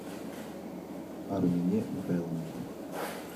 армине михайловне